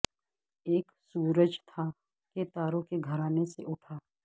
ایک سورج تھا کہ تاروں کے گھرانے سے اٹھا